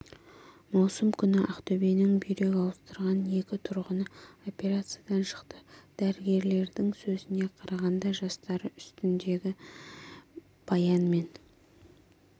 маусым күні ақтөбенің бүйрек ауыстырған екі тұрғыны операциядан шықты дәрігерлердің сөзіне қарағанда жастары үстіндегі баян мен